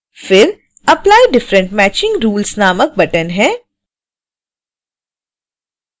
फिर apply different matching rules नामक button है